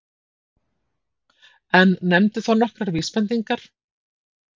En nefndi þó nokkrar vísbendingar